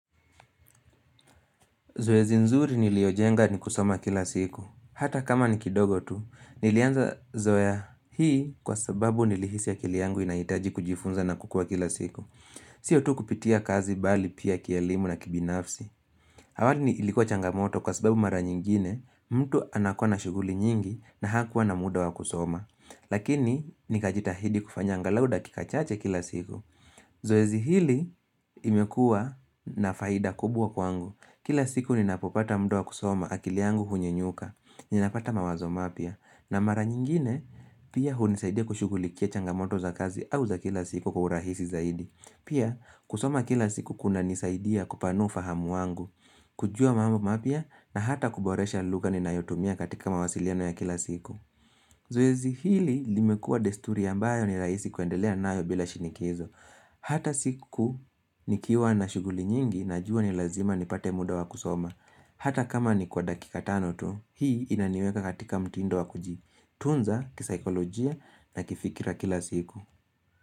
Zoezi nzuri niliojenga ni kusoma kila siku. Hata kama ni kidogo tu, nilianza zoea hii kwa sababu nilihisi ya akili yangu inaitaji kujifunza na kukua kila siku. Siyo tu kupitia kazi bali pia kielimu na kibinafsi. Awali ni ilikuwa changamoto kwa sababu mara nyingine, mtu anakuwa na shughuli nyingi na hakuwa na muda wa kusoma. Lakini, nikajitahidi kufanya angalau dakika chache kila siku. Zoezi hili imekua na faida kubwa kwangu. Kila siku ninapopata mda wa kusoma akili yangu hunya nyuka, ninapata mawazo mapya na mara nyingine pia hunisaidia kushughulikia changamoto za kazi au za kila siku kwa urahisi zaidi Pia kusoma kila siku kuna nisaidia kupanua ufahamu wangu kujua mambo mapya na hata kuboresha lugha ninayotumia katika mawasiliano ya kila siku Zoezi hili limekua desturi ambayo ni raisi kuendelea nayo bila shinikizo Hata siku nikiwa na shughuli nyingi najuwa ni lazima nipate muda wa kusoma Hata kama ni kwa dakika tano tu Hii inaniweka katika mtindo wa kuji tunza kisaikolojia na kifikira kila siku.